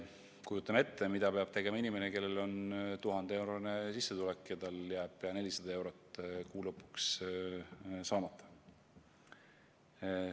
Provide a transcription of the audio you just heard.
Kujutan ette, mida peab tegema inimene, kellel on 1000-eurone sissetulek ja tal jääb 400 eurot kuu lõpus saamata.